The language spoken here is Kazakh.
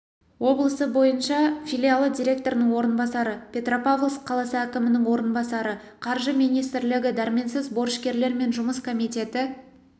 облысы бойынша филиалы директорының орынбасары петропавловск қаласы әкімінің орынбасары қаржы министрлігі дәрменсіз борышкерлермен жұмыс комитеті